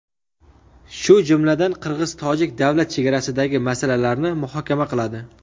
shu jumladan qirg‘iz-tojik davlat chegarasidagi masalalarni muhokama qiladi.